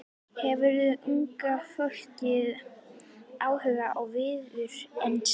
Hefur unga fólkið áhuga á Viðreisn?